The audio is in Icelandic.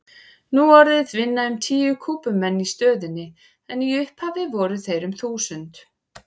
Nú orðið vinna um tíu Kúbumenn í stöðinni en í upphafi voru þeir um þúsund.